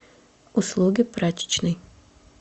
услуги прачечной